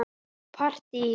Og partí.